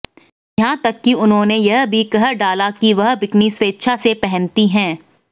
यहां तक कि उन्होंने यह भी कह डाला कि वह बिकनी स्वेच्छा से पहनती हैं